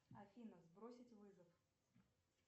афина сбросить вызов